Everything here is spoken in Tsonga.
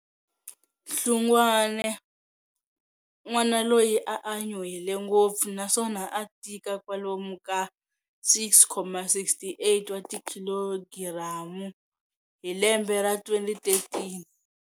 Hlungwane, n'wana loyi a a nyuhele ngopfu naswona a tika kwalomu ka 6,68 wa tikhilogiramu hi lembe ra 2013.